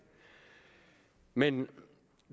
men